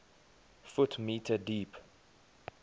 ft m deep